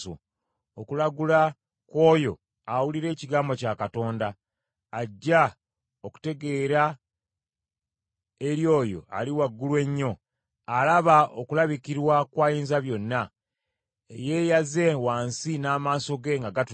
okulagula kw’oyo awulira ekigambo kya Katonda, aggya okutegeera eri oyo Ali Waggulu Ennyo alaba okulabikirwa kw’Ayinzabyonna eyeeyaze wansi, n’amaaso ge nga gatunula.